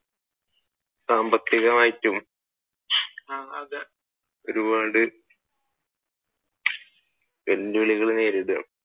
സാമ്പത്തികമായിട്ടും ഒരുപാട് വെല്ലുവിളികൾ നേരിടുകയാണ്